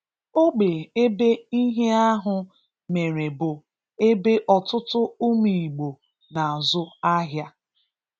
Ogbe ebe ihe ahụ mere bụ ebe ọtụtụ ụmụ Igbo na-azụ ahịa.